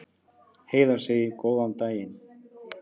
Heiða segir góðan daginn!